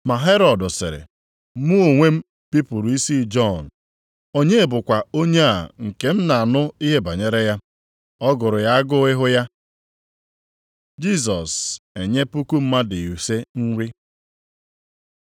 Ma Herọd sịrị, “Mụ onwe bipụrụ isi Jọn. Onye bụkwa onye a nke m na-anụ ihe banyere ya?” Ọ gụrụ ya agụụ ịhụ ya. Jisọs enye puku mmadụ ise nri